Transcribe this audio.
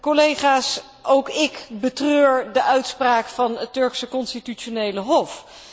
Collega's, ook ik betreur de uitspraak van het Turkse Constitutionele Hof.